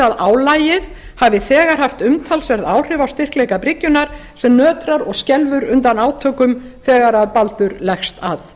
að álagið hafi þegar haft umtalsverð áhrif á styrkleika bryggjunnar sem nötrar og skelfur undan átökum þegar baldur leggst að